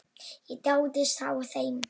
Ég dáðist að þeim.